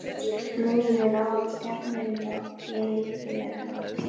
Leið mér ávallt jafn vel og ég vildi vera láta?